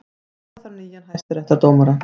Skipa þarf nýja hæstaréttardómara